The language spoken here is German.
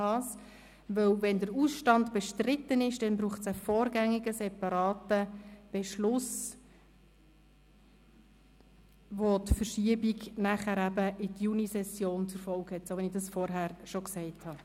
Denn wenn der Ausstand bestritten ist, dann braucht es einen vorgängigen separaten Beschluss, der die Verschiebung in die Junisession zur Folge hat, so wie ich das vorhin schon erwähnt habe.